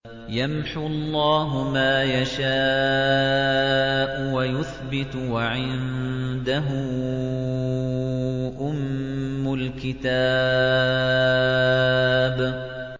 يَمْحُو اللَّهُ مَا يَشَاءُ وَيُثْبِتُ ۖ وَعِندَهُ أُمُّ الْكِتَابِ